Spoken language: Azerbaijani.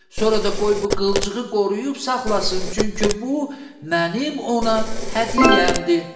Sonra da qoy bu qılçığı qoruyub saxlasın, çünki bu mənim ona hədiyyəmdir.